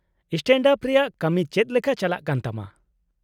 -Stand-up ᱨᱮᱭᱟᱜ ᱠᱟᱢᱤ ᱪᱮᱫ ᱞᱮᱠᱟ ᱪᱟᱞᱟᱜ ᱠᱟᱱ ᱛᱟᱢᱟ ?